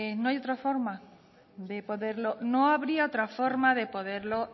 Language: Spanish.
no habría otra forma de poderlo